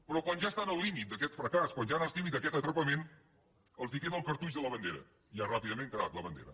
però quan ja estan al límit d’aquest fracàs quan ja estan al límit d’aquest atrapament els queda el cartutx de la bandera i ja ràpidament carat la bandera